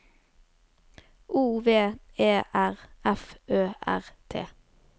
O V E R F Ø R T